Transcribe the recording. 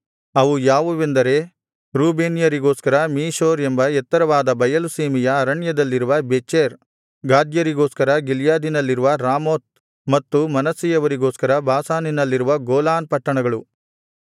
ಅವು ಯಾವುವೆಂದರೆ ರೂಬೇನ್ಯರಿಗೋಸ್ಕರ ಮೀಶೋರ್ ಎಂಬ ಎತ್ತರವಾದ ಬಯಲು ಸೀಮೆಯ ಅರಣ್ಯದಲ್ಲಿರುವ ಬೆಚೆರ್ ಗಾದ್ಯರಿಗೋಸ್ಕರ ಗಿಲ್ಯಾದಿನಲ್ಲಿರುವ ರಾಮೋತ್ ಮತ್ತು ಮನಸ್ಸೆಯವರಿಗೋಸ್ಕರ ಬಾಷಾನಿನಲ್ಲಿರುವ ಗೋಲಾನ್ ಪಟ್ಟಣಗಳು